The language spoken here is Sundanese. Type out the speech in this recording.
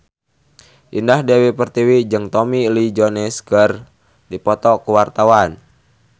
Indah Dewi Pertiwi jeung Tommy Lee Jones keur dipoto ku wartawan